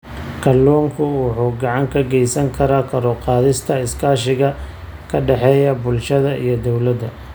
Kalluunku wuxuu gacan ka geysan karaa kor u qaadista iskaashiga ka dhexeeya bulshada iyo dawladda.